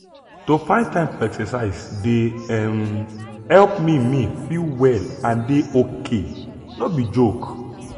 to find time for exercise dey um help me me feel well and dey ok no be joke.